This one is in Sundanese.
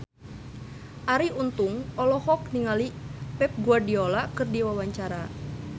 Arie Untung olohok ningali Pep Guardiola keur diwawancara